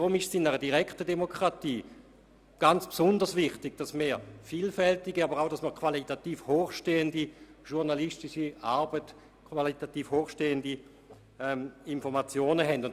Deshalb ist es in dieser direkten Demokratie ganz besonders wichtig, dass wir vielfältige, aber auch qualitativ hochstehende journalistische Arbeit und Informationen erhalten.